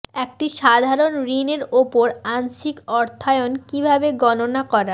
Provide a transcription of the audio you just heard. একটি সাধারণ ঋণ উপর আংশিক অর্থায়ন কিভাবে গণনা করা